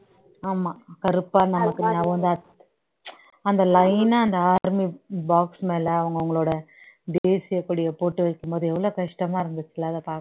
ஆமா கருப்பா நமக்கு ஞாபகம்தான் இருக் அந்த line ஆ அந்த army box மேலே அவங்க அவங்களோட தேசியக் கொடியை போட்டு வைக்கும்போது எவ்வளவு கஷ்டமா இருந்துச்சு இல்ல அதை பார்க்